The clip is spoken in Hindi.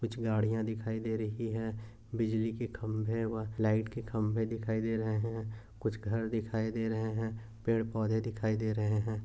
कुछ गाड़िया दिखाई दे रही हैं। बिजली के खंभे व लाइट के खंभे दिखाई दे रहा हैं। कुछ घर दिखाई दे रहे हैं। पेड़ पौधे दिखाई दे रहे हैं।